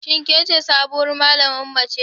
Shin kece sabuwar malaman mace?